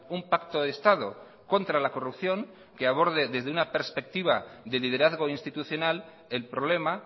un pacto de estado contra la corrupción que aborde desde una perspectiva de liderazgo institucional el problema